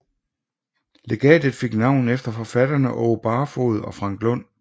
Legatet fik navn efter forfatterne Aage Barfoed og Frank Lund